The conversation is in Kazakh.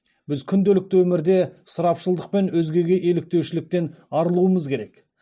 біз күнделікті өмірде ысырапшылдық пен өзгеге еліктеушіліктен арылуымыз керек